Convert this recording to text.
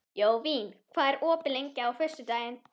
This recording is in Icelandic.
Jóvin, hvað er opið lengi á föstudaginn?